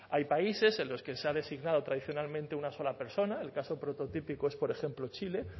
hay países en los que se ha designado tradicionalmente una sola persona el caso prototípico es por ejemplo chile